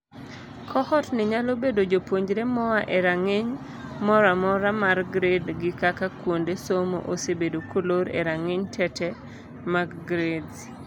Cohort ni nyalo bedo jopuonjre moa e rang'iny mora mora mar grade gi kaka kuonde somo osebedo kolor e rang'iny tete mag grades.